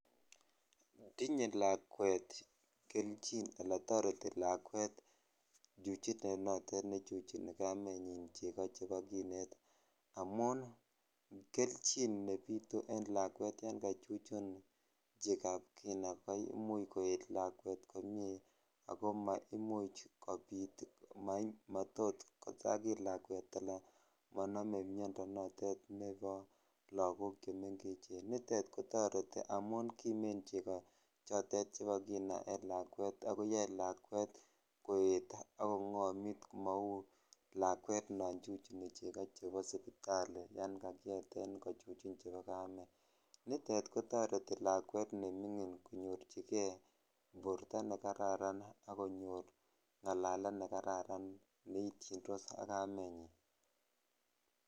Tinye lakwet kelchin alaan toreti lakwet chuchunet notet nechuchuni kamenyin cheko chebo kineet amun kelchin nebitu en lakwet nekachuchun chekab kina koimuch koet lakwet komie ak ko maimuch kobit matot kosakit lakwet anan monome miondo notet nebo lokok chemengechen, nitet kotoreti amun kimen cheko chotet chebo kina en lakwet ak koyoe lakwet koet ak kongomit mouu lakwet non chucuni lokok chebo sipitali yoon kakiyeten kochuchun chebo kameet, nitet kotoreti lakwet nemingin konyorchike borto nekararan ak konyor ngalalet nekararan neityindos ak kamenyin.